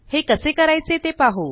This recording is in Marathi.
हे कसे करायचे ते पाहु